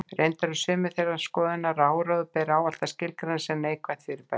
Reyndar eru sumir þeirrar skoðunar að áróður beri ávallt að skilgreina sem neikvætt fyrirbæri.